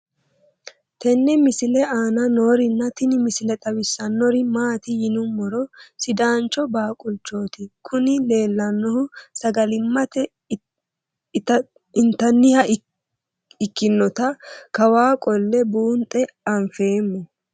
tenne misile aana noorina tini misile xawissannori maati yinummoro sidaancho baaqulichchotti kunni leellanohu sagalimmatte inttanniha ikkinnotta kawaa qolle buunxxe anfeemmo